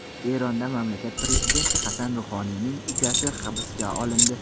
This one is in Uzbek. Eronda mamlakat prezidenti Hasan Ruhoniyning ukasi hibsga olindi.